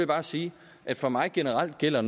bare sige at for mig generelt gælder